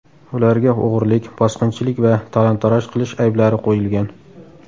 Ularga o‘g‘rilik, bosqinchilik va talon-taroj qilish ayblari qo‘yilgan.